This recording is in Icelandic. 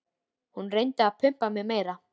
Hún reyndi að pumpa mig meira.